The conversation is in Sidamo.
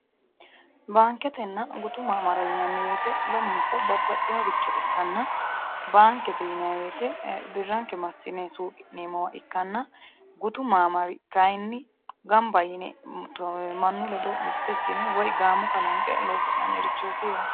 baanketenna gutu maamara yinanni wote lamunku babbaxinoricho ikkanna, baankete yinanni wote birranke massine suuqi'neemmo base ikkanna, gutu maamari kayiinni gamba yine mannu ledo mtto ikkine woyi gaamo kalanqe loosi'nannirichooti yaate.